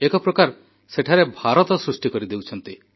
ଏକ ପ୍ରକାର ସେଠାରେ ଭାରତ ସୃଷ୍ଟି କରିଦେଉଛନ୍ତି